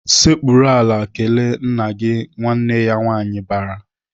"Sekpuru ala kelee nna gị!" Nwanne ya nwaanyị bara.